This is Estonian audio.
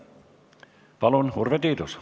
Palun, Urve Tiidus!